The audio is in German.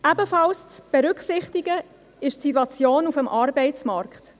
Ebenfalls zu berücksichtigen ist die Situation auf dem Arbeitsmarkt.